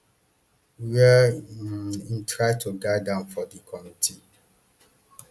wia im try to guide am for di committee